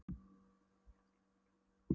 Þá neyddist hann til að búa til nýtt símanúmer.